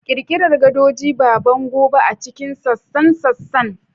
Ƙirƙirar gadoji, ba bango ba, a cikin sassan sassan.